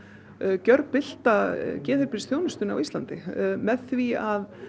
gjörbylta geðheilbrigðisþjónustunni á Íslandi með því að